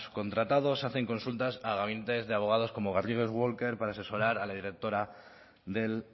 contratado se hacen consultas a gabinetes de abogados como garrigues walker para asesorar a la directora del